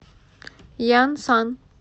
янсан